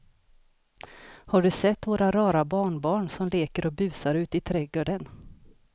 Har du sett våra rara barnbarn som leker och busar ute i grannträdgården!